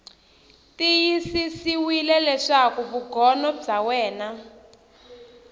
tiyisisiwile leswaku vugono bya wena